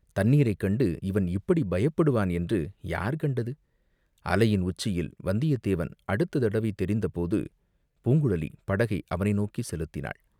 தண்ணீரைக் கண்டு இவன் இப்படி பயப்படுவான் என்று யார் கண்டது, அலையின் உச்சியில் வந்தியத்தேவன் அடுத்த தடவை தெரிந்த போது, பூங்குழலி படகை அவனை நோக்கிச் செலுத்தினாள்.